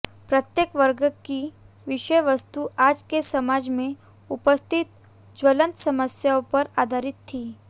प्रत्येक वर्ग की विषय वस्तु आज के समाज में उपस्थित ज्वलंत समस्याओं पर आधारित थी